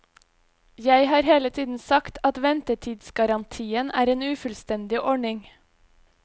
Jeg har hele tiden sagt at ventetidsgarantien er en ufullstendig ordning.